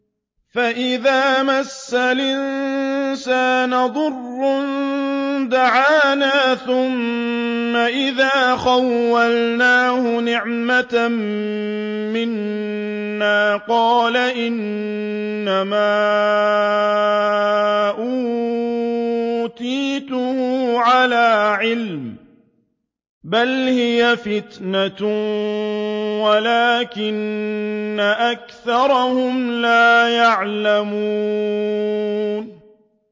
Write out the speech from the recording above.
فَإِذَا مَسَّ الْإِنسَانَ ضُرٌّ دَعَانَا ثُمَّ إِذَا خَوَّلْنَاهُ نِعْمَةً مِّنَّا قَالَ إِنَّمَا أُوتِيتُهُ عَلَىٰ عِلْمٍ ۚ بَلْ هِيَ فِتْنَةٌ وَلَٰكِنَّ أَكْثَرَهُمْ لَا يَعْلَمُونَ